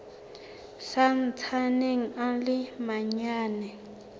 sa ntsaneng a le manyane